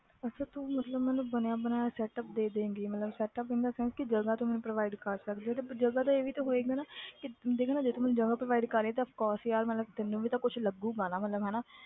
ਅੱਛਾ ਤੂੰ ਮਤਲਬ ਮੈਨੂੰ ਬਣਿਆ ਬਣਾਇਆ setup ਦੇ ਦਏਂਗੀ ਮਤਲਬ setup in the sense ਕਿ ਜਗ੍ਹਾ ਤੂੰ ਮੈਨੂੰ provide ਕਰ ਸਕਦੀ ਹੈ ਤੇ ਜਗ੍ਹਾ ਤੇ ਇਹ ਵੀ ਤਾਂ ਹੋਏਗਾ ਨਾ ਕਿ ਦੇਖ ਨਾ ਜੇ ਤੂੰ ਮੈਨੂੰ ਜਗ੍ਹਾ provide ਕਰ ਰਹੀ ਹੈ ਤੇ of course ਯਾਰ ਮਤਲਬ ਤੈਨੂੰ ਵੀ ਤਾਂ ਕੁਛ ਲੱਗੇਗਾ ਨਾ ਮਤਲਬ ਹਨਾ।